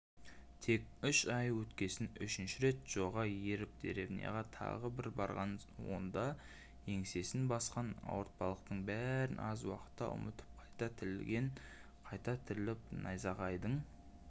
тек үш ай өткесін үшінші рет джоға еріп деревняға тағы бір барған онда еңсесін басқан ауыртпалықтың бәрін аз уақытқа ұмытып қайта тірілген қайта тіріліп найзағайдың